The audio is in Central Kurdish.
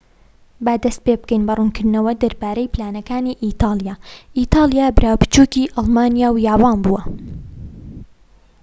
با دەست پێبکەین بە ڕوونکردنەوە دەربارەی پلانەکانی ئیتاڵیا ئیتالیا برا بچوکی ئەڵمانیا و یابان بووە